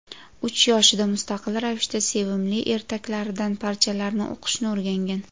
Uch yoshida mustaqil ravishda sevimli ertaklaridan parchalarni o‘qishni o‘rgangan.